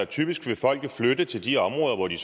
typisk vil flytte til de områder hvor de